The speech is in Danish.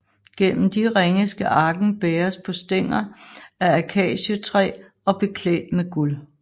Gennem de ringe skal arken bæres på stænger af akacietræ og beklædt med guld